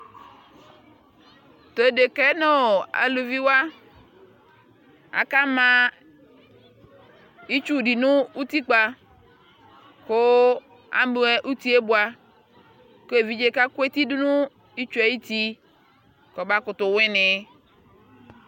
Tʋ odika yɛ nʋ alʋviwa, akama itsu nʋ utikpa kʋ abuɛ uti yɛ bua kʋ evidze kaku eti dʋ nʋ itsu ayʋ uti kʋ ɔbamʋtu wini